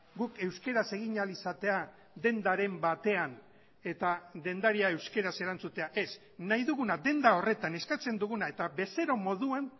guk euskaraz egin ahal izatea dendaren batean eta dendaria euskaraz erantzutea ez nahi duguna denda horretan eskatzen duguna eta bezero moduan